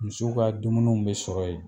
Misiw ka dumuniw be sɔrɔ yen.